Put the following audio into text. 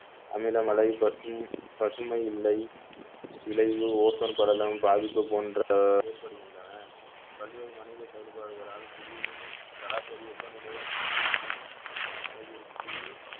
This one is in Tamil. அமிலமலை பசும்~ பசுமை இலை விளைவு ஓசோன் படலம் பாதிப்பு போன்ற ஏற்படுகின்றன பல்வேறு மனித செயல்பாடுகளால் புவியின் சராசரி வெப்பநிலை அச்சமுற்று அளவிற்கு